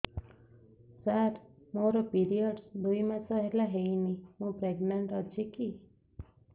ସାର ମୋର ପିରୀଅଡ଼ସ ଦୁଇ ମାସ ହେଲା ହେଇନି ମୁ ପ୍ରେଗନାଂଟ ଅଛି କି